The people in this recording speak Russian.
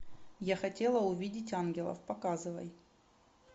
я хотела увидеть ангелов показывай